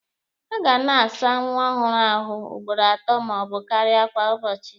A ga na-asa nwa ọhụrụ ahụ ugboro atọ ma ọ bụ karịa kwa ụbọchị.